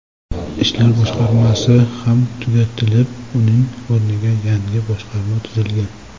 Ishlar boshqarmasi ham tugatilib, uning o‘rniga yangi boshqarma tuzilgan.